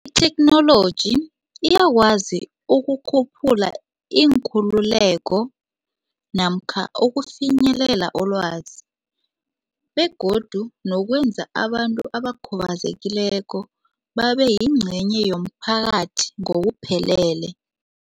Itheknoloji iyakwazi ukukhuphula iinkhululeko namkha ukufinyelela kolwazi begodu nokwenza abantu abakhubazekileko babeyingcenye yomphakathi ngokuphelele.